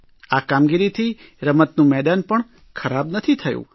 આ કામગીરીથી રમતનું મેદાન પણ ખરાબ નથી થયું